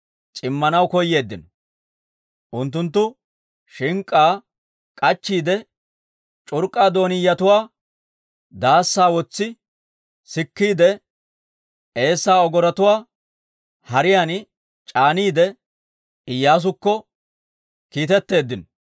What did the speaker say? c'immanaw koyeeddino. Unttunttu shink'k'aa k'achchiide c'urk'k'a doonniyatuwaa daassaa wotsi sikkeedda eessaa ogorotuwaa hariyaan c'aaniide, Iyyaasukko kiitetteeddino.